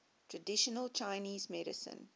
traditional chinese medicine